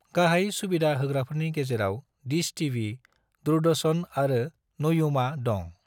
गाहाय सुबिदा होग्राफोरनि गेजेराव डिश टीवी, दूरदर्शन आरो नयूमा दं।